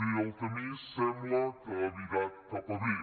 bé el camí sembla que ha virat cap a bé